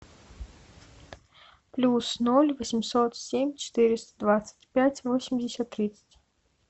плюс ноль восемьсот семь четыреста двадцать пять восемьдесят тридцать